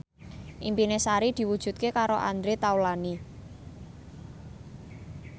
impine Sari diwujudke karo Andre Taulany